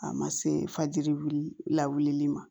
A ma se fajiri wuli la wulili ma